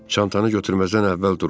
Çantanı götürməzdən əvvəl duruxdu.